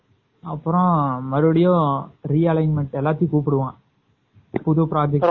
அப்பறம் மறுபடியும் realignment னு எல்லாரையும் கூப்பிடுவான் புது project